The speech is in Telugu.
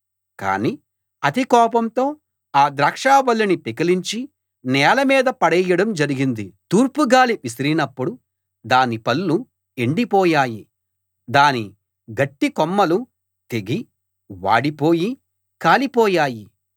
కాని అతికోపంతో ఆ ద్రాక్షవల్లిని పెకలించి నేల మీద పడేయడం జరిగింది తూర్పుగాలి విసిరినప్పుడు దాని పళ్ళు ఎండిపోయాయి దాని గట్టికొమ్మలు తెగి వాడిపోయి కాలిపోయాయి